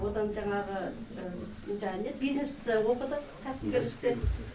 одан жаңағы бизнесті оқыдық кәсіпкерлікте